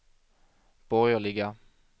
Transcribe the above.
borgerliga